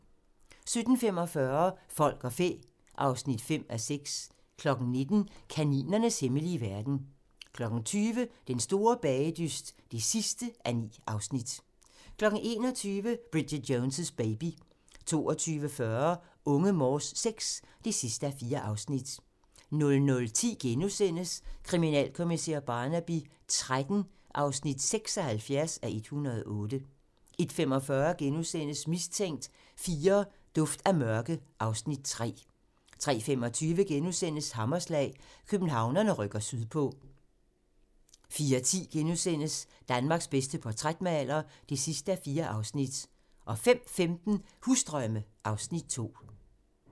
17:45: Folk og fæ (5:6) 19:00: Kaninernes hemmelige verden 20:00: Den store bagedyst (9:9) 21:00: Bridget Jones' Baby 22:40: Unge Morse VI (4:4) 00:10: Kriminalkommissær Barnaby XIII (76:108)* 01:45: Mistænkt IV: Duft af mørke (Afs. 3)* 03:25: Hammerslag - Københavnerne rykker sydpå * 04:10: Danmarks bedste portrætmaler (4:4)* 05:15: Husdrømme (Afs. 2)